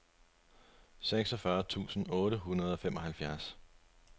seksogfyrre tusind otte hundrede og femoghalvfjerds